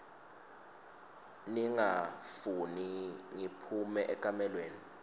ningafuni ngiphume ekamelweni